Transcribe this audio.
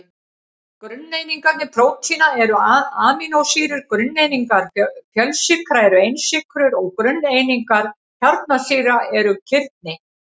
Grunneiningar prótína eru amínósýrur, grunneiningar fjölsykra eru einsykrur og grunneiningar kjarnasýra eru kirni.